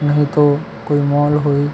नहीं तो कोई मॉल होई--